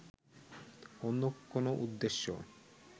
অন্য কোন উদ্দেশ্য